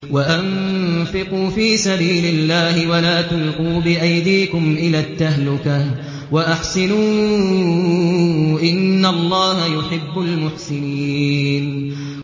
وَأَنفِقُوا فِي سَبِيلِ اللَّهِ وَلَا تُلْقُوا بِأَيْدِيكُمْ إِلَى التَّهْلُكَةِ ۛ وَأَحْسِنُوا ۛ إِنَّ اللَّهَ يُحِبُّ الْمُحْسِنِينَ